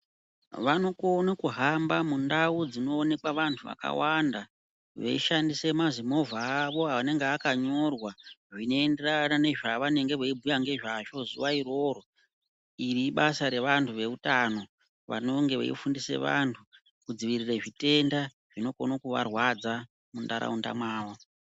Vanokone kuhamba mundau dzinoonekwe vantu vakawanda veishandise mazimovha avo anenge akanyorwa zvinoenderana nezvavanenge veibhuya ngezvazvo zuwa iroro iri ibasabrevantu veutano vanonge veifundise vanhu kudzivirire zvitenda zvinokone kuvarwadza muntaraunda mavo.